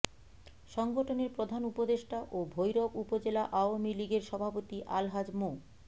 সংগঠনের প্রধান উপদেষ্টা ও ভৈরব উপজেলা আওয়ামী লীগের সভাপতি আলহাজ মো